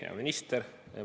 Hea minister!